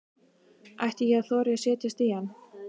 Ætti ég að þora að setjast í hann?